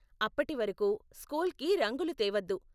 అప్పటివరకు, స్కూల్కి రంగులు తేవద్దు.